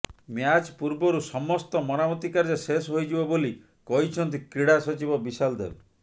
match ପୂର୍ବରୁ ସମସ୍ତ ମରାମତି କାର୍ଯ୍ୟ ଶେଷ ହୋଇଯିବ ବୋଲି କହିଛନ୍ତି କ୍ରୀଡ଼ା ସଚିବ ବିଶାଲ ଦେବ